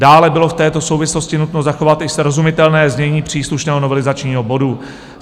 Dále bylo v této souvislosti nutno zachovat i srozumitelné znění příslušného novelizačního bodu.